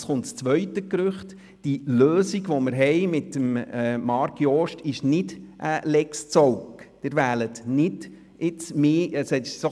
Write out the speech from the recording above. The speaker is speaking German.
Zum zweiten Gerücht: Die Lösung, die wir mit Marc Jost als SAK-Präsident haben, ist keine «Lex Zaugg», wie gemunkelt wird.